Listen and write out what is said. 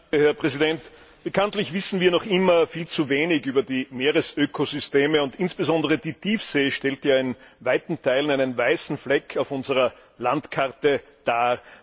Herr Präsident! Bekanntlich wissen wir noch immer viel zu wenig über die Meeresökosysteme, und insbesondere die Tiefsee stellt ja in weiten Teilen einen weißen Fleck auf unserer Landkarte dar.